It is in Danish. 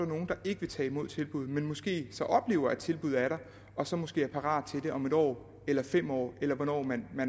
nogle der ikke vil tage imod tilbuddet men som måske så oplever at tilbuddet er der og så måske er parat til det om en år eller fem år eller hvornår man